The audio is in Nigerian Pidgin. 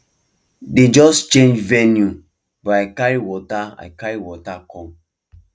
dem just change venue but i carry water i carry water come